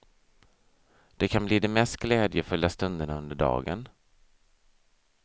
Det kan bli de mest glädjefulla stunderna under dagen.